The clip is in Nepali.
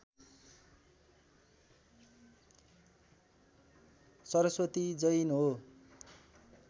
सरस्वती जैन हो।